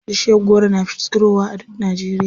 Bishiyar goro na tsirowa a duk Najeriya.